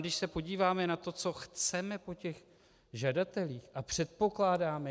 Když se podíváme na to, co chceme po těch žadatelích, a předpokládáme...